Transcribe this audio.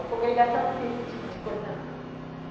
A congregação não tem esse tipo de coisa, não.